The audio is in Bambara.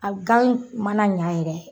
A gan mana ɲa yɛrɛ